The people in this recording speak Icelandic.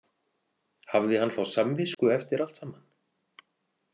Hafði hann þá samvisku eftir allt saman?